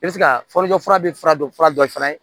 I bɛ se ka fɔlikɛ fura bɛ fura dɔ fura dɔ fana ye